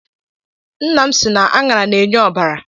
Nna m sị na aṅara na-enye ọbara.